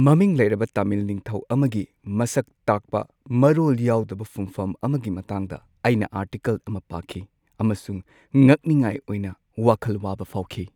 ꯃꯃꯤꯡ ꯂꯩꯔꯕ ꯇꯥꯃꯤꯜ ꯅꯤꯡꯊꯧ ꯑꯃꯒꯤ ꯃꯁꯛ ꯇꯥꯛꯄ ꯃꯔꯣꯜ ꯌꯥꯎꯗꯕ ꯐꯨꯝꯐꯝ ꯑꯃꯒꯤ ꯃꯇꯥꯡꯗ ꯑꯩꯅ ꯑꯥꯔꯇꯤꯀꯜ ꯑꯃ ꯄꯥꯈꯤ ꯑꯃꯁꯨꯡ ꯉꯛꯅꯤꯉꯥꯏ ꯑꯣꯏꯅ ꯋꯥꯈꯜ ꯋꯥꯕ ꯐꯥꯎꯈꯤ꯫